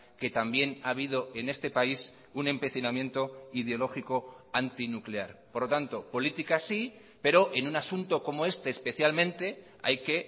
que también ha habido en este país un empecinamiento ideológico antinuclear por lo tanto política sí pero en un asunto como este especialmente hay que